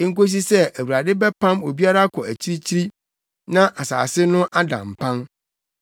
enkosi sɛ, Awurade bɛpam obiara akɔ akyirikyiri na asase no ada mpan.